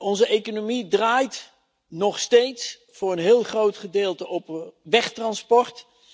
Onze economie draait nog steeds voor een heel groot gedeelte op wegtransport.